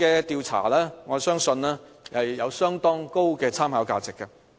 因此，我相信此項調查有相當高的參考價值。